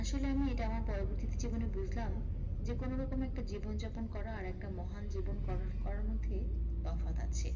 আসলে আমি এটা আমার পরবর্তি জীবনে বুঝলাম যে কোনোরকমে একটা জীবন যাপন করা আর একটা মহান জীবন গড়~করার মধ্যে তফাৎ আছে